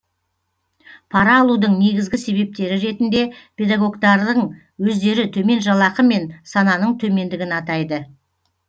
пара алудың негізгі себептері ретінде педагогтардың өздері төмен жалақы мен сананың төмендігін атайды